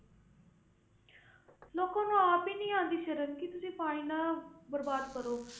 ਲੋਕਾਂ ਨੂੰ ਆਪ ਹੀ ਨੀ ਆਉਂਦੀ ਸ਼ਰਮ ਕਿ ਤੁਸੀਂ ਪਾਣੀ ਨਾ ਬਰਬਾਦ ਕਰੋ।